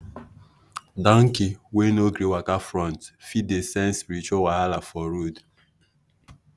donkey wey no gree waka front fit dey sense spiritual wahala for road.